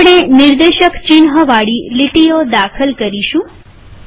હવે આપણે નિર્દેશક ચિન્હવાળી લીટીઓ દાખલ કરીશું